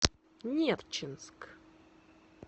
нерчинск